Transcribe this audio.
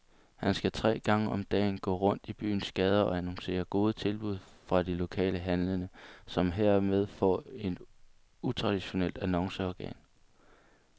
Han skal tre gange om dagen gå rundt i byens gader og annoncere gode tilbud fra de lokale handlende, som hermed får et utraditionelt annonceorgan.